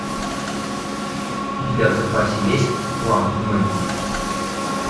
у тебя в запасе есть план мэгги